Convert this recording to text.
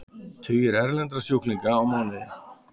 Tugir erlendra sjúklinga á mánuði